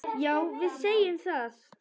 Já, við segjum það.